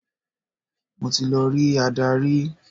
Mo ti lọ rí adarí.